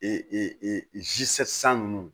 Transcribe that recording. E e e san nunnu